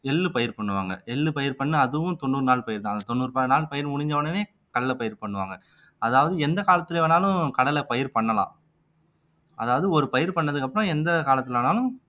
எள்ளு பயிர் பண்ணுவாங்க எள்ளு பயிர் பண்ணா அதுவும் தொண்ணூறு நாள் பயிர்தான் அந்த தொண்ணூறு ப நாள் பயிர் முடிஞ்சவுடனே கடலை பயிர் பண்ணுவாங்க அதாவது எந்த காலத்துல வேணாலும் கடலை பயிர் பண்ணலாம் அதாவது ஒரு பயிர் பண்ணதுக்கு அப்புறம் எந்த காலத்துலனாலும்